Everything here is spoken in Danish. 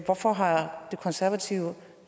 hvorfor har de konservative